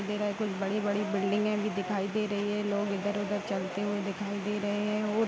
दे रहा है। कुछ बड़ी-बड़ी बिल्डिंगें भी दिखाई दे रही है। लोग इधर-उधर चलते हुए दिखाई दे रहें हैं और --